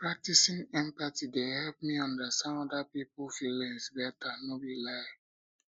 practicing empathy dey help me understand oda pipo feelings beta no be lie